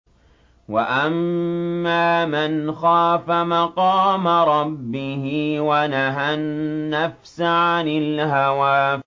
وَأَمَّا مَنْ خَافَ مَقَامَ رَبِّهِ وَنَهَى النَّفْسَ عَنِ الْهَوَىٰ